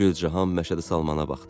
Gülcahan Məşədi Salmana baxdı.